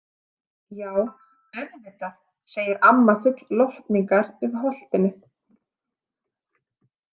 Já, auðvitað, segir amma full lotningar fyrir Holtinu.